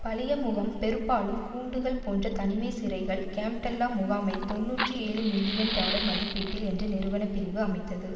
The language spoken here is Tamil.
பழைய முகாம் பெருப்பாலும் கூண்டுகள் போன்ற தனிமை சிறைகள் கேம்ப்டெல்டா முகாமை தொன்னூற்றி ஏழுமில்லியன் டாலர் மதிப்பீட்டில் என்ற நிறுவன பிரிவு அமைத்தது